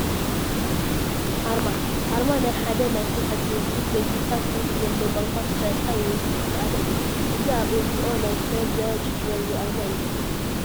ኣርማ፡- ኣርማ ናይ ሓደ ናይ ስራሕ ድርጅት ወይ ትካል ብትርጉም ዘለዎ ቋንቋ ዝተሰርሐ ወይ ዝተሳኣለ እዩ፡፡ እዚ ኣብ ኤንጅኦ ናይ ሴብ ዘ ቺልድረን ኣርማ እዩ፡፡